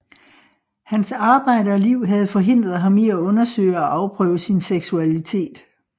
Hans arbejde og liv havde forhindret ham i at undersøge og afprøve sin seksualitet